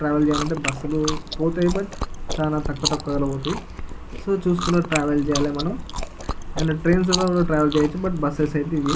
Travel చేయాలంటే bus పోతాయి. But చానా తక్కువ తక్కువ దాన్లా పోతాయి. సో చూసుకొని ట్రావెల్ చేయాలి మనం. ఏవన ట్రైన్స్ లో ట్రావెల్ చేయోచ్ మనం కానీ బస్ ఐతే ఇవే.